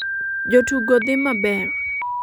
jotugo dhi maber